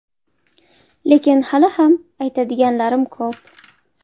Lekin hali ham aytadiganlarim ko‘p.